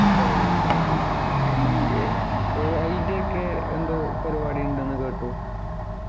ഓ അയ് ശരി ഈ ഏർ AI ൻ്റെ ഒക്കെ എന്തോ പരിപാടി ഉണ്ട് ന്നു കേട്ടു